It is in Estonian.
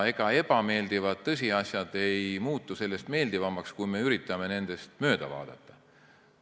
Ega ebameeldivad tõsiasjad ei muutu sellest meeldivamaks, kui me üritame nendest mööda vaadata.